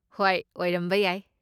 ꯍꯣꯏ, ꯑꯣꯏꯔꯝꯕ ꯌꯥꯏ꯫